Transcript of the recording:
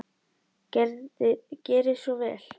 Gerið svo vel!